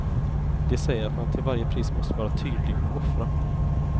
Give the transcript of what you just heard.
De säger att man till varje pris måste vara tydlig och offra.